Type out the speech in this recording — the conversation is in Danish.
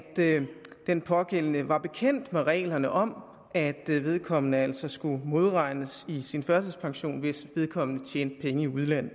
den pågældende var bekendt med reglerne om at vedkommende altså skulle modregnes i sin førtidspension hvis vedkommende tjente penge i udlandet